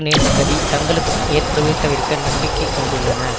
நேர்ந்த கதி தங்களுக்கும் ஏற்படுவதை தவிர்க்க நம்பிக்கை கொண்டுள்ளன